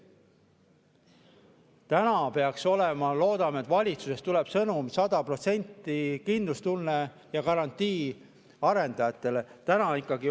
Täna peaks olema ja loodame, et valitsusest ka tuleb sõnum, 100% kindlustunne ja garantii arendajatele.